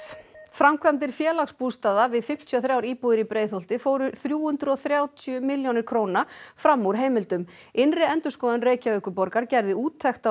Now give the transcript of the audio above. framkvæmdir Félagsbústaða við fimmtíu og þrjár íbúðir í Breiðholti fóru þrjú hundruð og þrjátíu milljónir króna fram úr heimildum innri endurskoðun Reykjavíkurborgar gerði úttekt